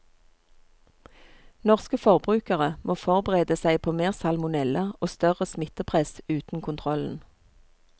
Norske forbrukere må forberede seg på mer salmonella og større smittepress uten kontrollen.